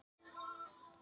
Jæja þar kom að því!